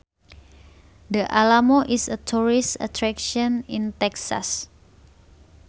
The Alamo is a tourist attraction in Texas